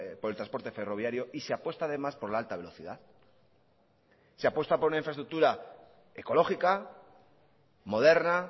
por el transporte ferroviario y se apuesta además por la alta velocidad se apuesta por una infraestructura ecológica moderna